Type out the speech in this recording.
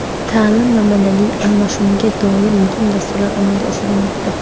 Ta’lim va madaniy almashinuvga doir muhim dasturlar amalga oshirilmoqda.